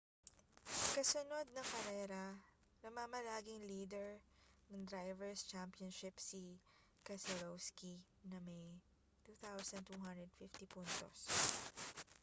kasunod ng karera namamalaging lider ng drivers' championship si keselowski na may 2,250 puntos